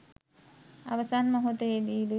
අවසන් මොහොතේදී